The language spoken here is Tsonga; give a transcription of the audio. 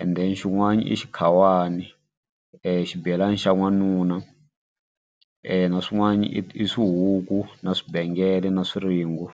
and then xin'wani i xikhawani xibelani xa n'wanuna na swin'wana i swihuku na swibengele na swiringo.